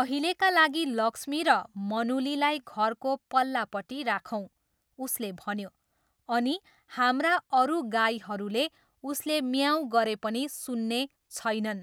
अहिलेका लागि लक्ष्मी र मनुलीलाई घरको पल्लापट्टि राखौँ ' उसले भन्यो,'अनि हाम्रा अरू गाईहरूले उसले म्याऊँ गरे पनि सुन्ने छैनन्।'